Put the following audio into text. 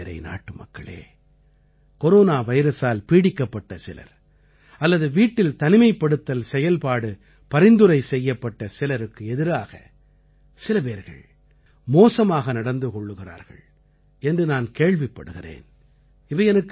என் மனம்நிறை நாட்டுமக்களே கொரோனா வைரஸால் பீடிக்கப்பட்ட சிலர் அல்லது வீட்டில் தனிமைப்படுத்தல் செயல்பாடு பரிந்துரை செய்யப்பட்ட சிலருக்கு எதிராக சிலபேர்கள் மோசமாக நடந்து கொள்கிறார்கள் என்று நான் கேள்விப்படுகிறேன்